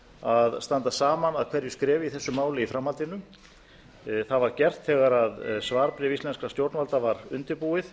að standa saman að hverju skrefi í þessu máli í framhaldinu það var gert þegar svarbréf íslenskra stjórnvalda var undirbúið